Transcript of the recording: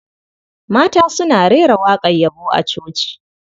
Mata suna rera waƙar yabo a coci.